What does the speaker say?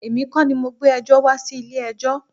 Èmi kọ́ ni mo gbé ẹjọ́ wá sí ilé ẹjọ́.